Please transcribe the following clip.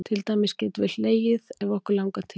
Til dæmis getum við hlegið ef okkur langar til.